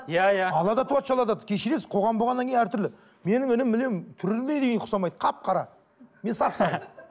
иә иә ала да тудаы кешіресіз қоғам болғаннан кейін әртүрлі менің інім мүлдем түріне дейін ұқсамайды қап қара мен сап сары